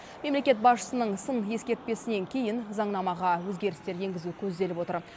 мемлекет басшысының сын ескертпесінен кейін заңнамаға өзгерістер енгізу көзделіп отыр